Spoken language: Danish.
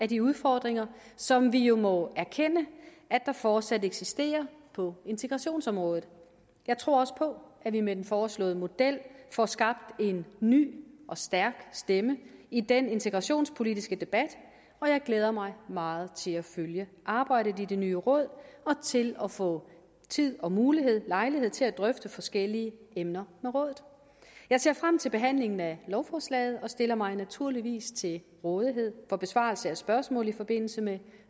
de udfordringer som vi jo må erkende at der fortsat eksisterer på integrationsområdet jeg tror også på at vi med den foreslåede model får skabt en ny og stærk stemme i den integrationspolitiske debat og jeg glæder mig meget til at følge arbejdet i det nye råd og til at få tid og mulighed og lejlighed til at drøfte forskellige emner med rådet jeg ser frem til behandlingen af lovforslaget og stiller mig til naturligvis til rådighed for besvarelse af spørgsmål i forbindelse med